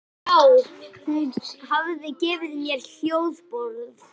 já, hún hafði gefið mér hljómborð.